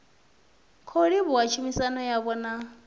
khou livhuwa tshumisano yavho na